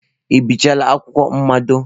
Ị bịchala akwụkwọ mmado?